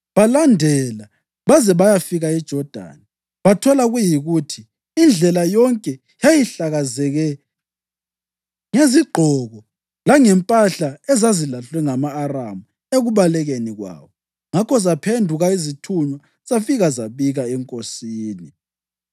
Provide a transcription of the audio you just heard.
Balandela baze bayafika eJodani, bathola kuyikuthi indlela yonke yayihlakazeke ngezigqoko langempahla ezazilahlwe ngama-Aramu ekubalekeni kwawo. Ngakho zaphenduka izithunywa zafika zabika enkosini.